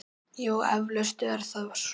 Jú, eflaust er það svo.